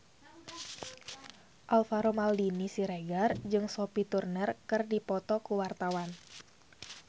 Alvaro Maldini Siregar jeung Sophie Turner keur dipoto ku wartawan